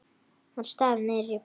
Hann starir niður í borðið.